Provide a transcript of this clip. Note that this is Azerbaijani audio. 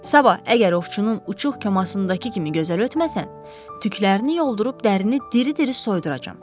Sabah əgər ovçunun uçuğ kəmasındakı kimi gözəl ötməsən, tüklərini yoldurub dərini diri-diri soyuduracam.